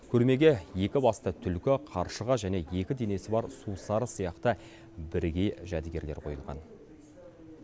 көрмеге екі басты түлкі қаршыға және екі денесі бар сусары сияқты бірегей жәдігерлер қойылған